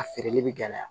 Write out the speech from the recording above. A feereli bi gɛlɛya